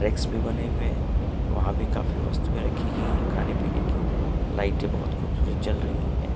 भी बने हुए हैं वहां भी काफी वस्तुएं रखी गई हैं खाने पीने की लाइटें बहुत खूबसूरत जल रही हैं।